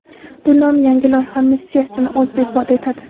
Bu nom yangi loyiha missiyasini o‘zida ifoda etadi.